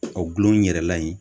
O gulon yɛrɛ la in